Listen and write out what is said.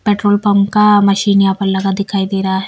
Petrol pump का machine यहां पर लगा दिखाई दे रहा है।